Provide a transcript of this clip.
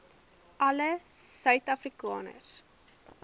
alle suid afrikaners